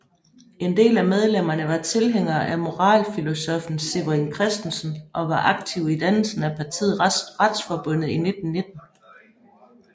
En del af medlemmerne var tilhængere af moralfilosoffen Severin Christensen og var aktive i dannelsen af partiet Retsforbundet i 1919